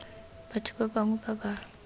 batho ba bangwe ba ba